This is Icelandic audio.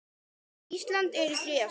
Ísland er í þriðja sæti.